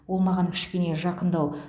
ол маған кішкене жақындау